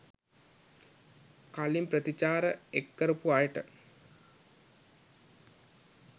කලින් ප්‍රතිචාර එක් කරපු අයට